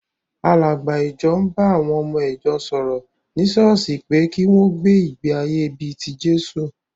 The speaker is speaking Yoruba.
Àlàgbà ìjọ ń ba àwọn ọmọ ìjọ sọ̀rọ̀ ní ṣọ́ọ́ṣì pé kí wọ́n gbé ìgbé-ayé bí i ti Jésù.